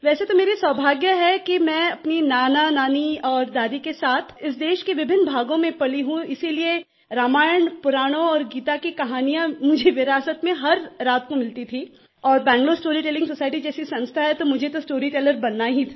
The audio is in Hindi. वैसे तो मेरा सौभाग्य है कि मैं अपनी नानानानी और दादी के साथ इस देश के विभिन्न भागों में पली हूँ इसलिए रामायण पुराणों और गीता की कहानियाँ मुझे विरासत में हर रात को मिलती थी और बैंगलूर स्टोरीटेलिंग सोसाइटी जैसी संस्था है तो मुझे तो स्टोरीटेलर बनना ही था